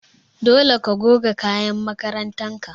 Dole ka goge kayan makarantar ka!